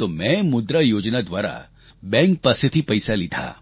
તો મેં મુદ્રા યોજના દ્વારા બેંક પાસેથી પૈસા લીધા